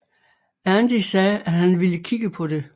Andy sagde at han ville kigge på det